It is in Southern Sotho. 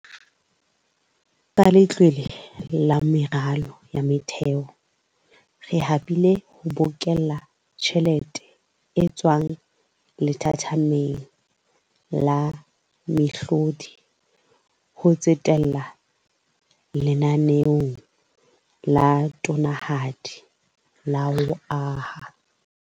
Ka Letlole la Meralo ya Motheo, re habile ho bokella tjhelete e tswang lethathameng la mehlodi, ho tsetela lenaneong la tonanahadi la ho aha.